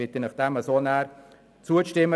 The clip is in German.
Ich bitte Sie, diesem Vorgehen zuzustimmen.